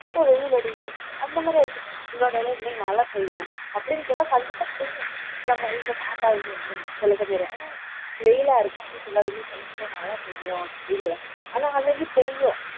மொட்ட வெயில் அடிக்கும் அந்த மாதிரி ஆயிடுச்சு முன்னாடியெல்லாம் இன்னைக்கு மழை பெய்யும் அப்படின்னு சொன்னா கண்டிப்பா பெய்யும் நம்ம எங்க தாத்தா ஆனா வெயிலா இருக்கும் அப்ப சொல்லாதீங்க சில சமயம் மழை பெய்யும் அப்படிங்கறார் ஆனா அன்னைக்கு பெய்யும்